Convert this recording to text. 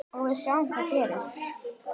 Og við sjáum hvað gerist.